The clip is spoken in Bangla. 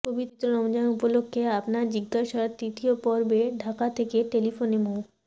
পবিত্র রমজান উপলক্ষে আপনার জিজ্ঞাসার তৃতীয় পর্বে ঢাকা থেকে টেলিফোনে মো